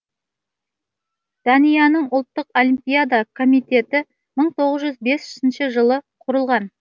данияның ұлттық олимпиада комитететі мың тоғыз жүз етпісінші жылы құрылған